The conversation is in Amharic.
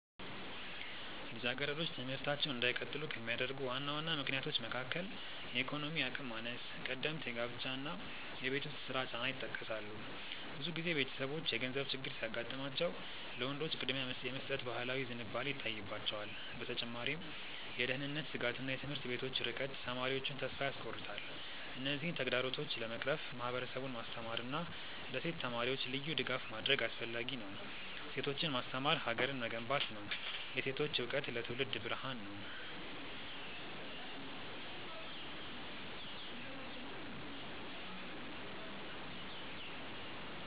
ልጃገረዶች ትምህርታቸውን እንዳይቀጥሉ ከሚያደርጉ ዋና ዋና ምክንያቶች መካከል የኢኮኖሚ አቅም ማነስ፣ ቀደምት ጋብቻ እና የቤት ውስጥ ስራ ጫና ይጠቀሳሉ። ብዙ ጊዜ ቤተሰቦች የገንዘብ ችግር ሲያጋጥማቸው ለወንዶች ቅድሚያ የመስጠት ባህላዊ ዝንባሌ ይታይባቸዋል። በተጨማሪም የደህንነት ስጋትና የትምህርት ቤቶች ርቀት ተማሪዎቹን ተስፋ ያስቆርጣል። እነዚህን ተግዳሮቶች ለመቅረፍ ማህበረሰቡን ማስተማርና ለሴት ተማሪዎች ልዩ ድጋፍ ማድረግ አስፈላጊ ነው። ሴቶችን ማስተማር ሀገርን መገንባት ነው። የሴቶች እውቀት ለትውልድ ብርሃን ነው።